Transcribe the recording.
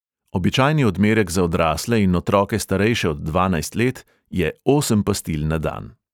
Običajni odmerek za odrasle in otroke, starejše od dvanajst let, je osem pastil na dan.